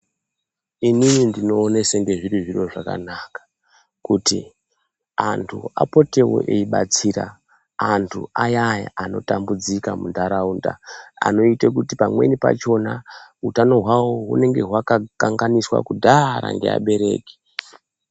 Inini ndinoone senge zviri zviro zvakanaka kuti antu apotewo eyibatsira antu ayaya anotambudzika muntaraunda, anoite kuti pamweni pachona utano hwawo hunenge hwakakanganiswa kudhara ngeabereki.